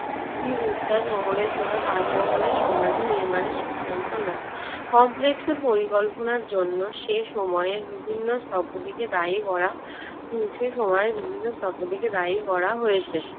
স্ত্রী মমতাজ মহলের জন্য তাজমহল সমাধি নির্মাণের সিদ্ধান্ত নেন। কমপ্লেক্সের পরিকল্পনার জন্য সেই সময় বিভিন্ন স্থপতিকে দায়ী করা~ সে সময়ে বিভিন্ন স্থপতিকে দায়ী করা হয়েছে।